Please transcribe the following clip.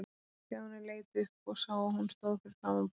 Stjáni leit upp og sá að hún stóð fyrir framan borðið hans.